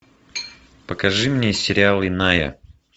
покажи мне сериал иная